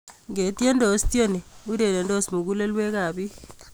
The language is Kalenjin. Itiedos tieni, urerendos mugulelwekab bik